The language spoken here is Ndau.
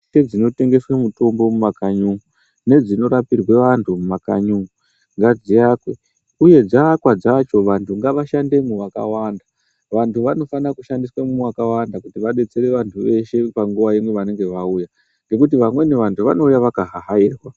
Ndese dzinotengeswe mitombo mumakanyi umwo nedzinorapirwe vanhu mumakanyi umwo ngadziakwe uye dzaakwa dzacho vantu ngavashandemo vakawanda , vantu vanofanira kushandiswemo vakawanda kuti vabetsere vanhu veshe panguwa imwe vanenge vauya ngekuti vamweni vantu vanouya vakahahairwa.